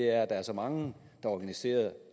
er at der er så mange organiserede